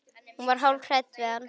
Hún var hálf hrædd við hann.